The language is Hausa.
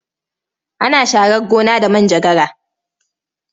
Ana sharar gona da manjagara.